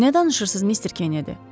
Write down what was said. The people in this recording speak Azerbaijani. Nə danışırsınız, Mister Kennedy?